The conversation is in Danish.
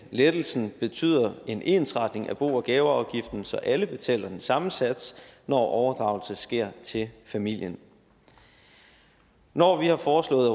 lettelsen betyder en ensretning af bo og gaveafgiften så alle betaler den samme sats når overdragelsen sker til familien når vi har foreslået